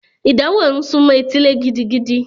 Ìdánwò ń sunmọ́ etílé gidigidi.